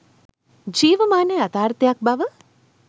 ජීවමාන යථාර්ථයක් බව